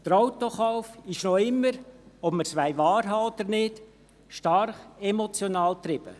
Der Autokauf ist noch immer – ob wir es wahrhaben wollen oder nicht – stark emotional getrieben.